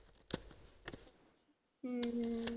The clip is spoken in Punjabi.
ਹਮ